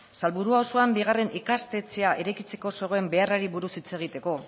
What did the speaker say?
salburua auzoan bigarren ikastetxea eraikitzeko zegoen beharrari buruz hitz egiteko